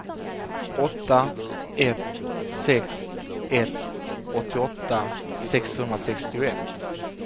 åtta ett sex ett åttioåtta sexhundrasextioett